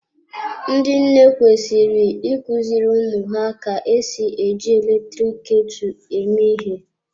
Ndị nne kwesịrị ị kuziri ụmụ ha ka-esi eji eletrik ketu eme ihe.